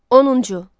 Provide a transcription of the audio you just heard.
10-cu.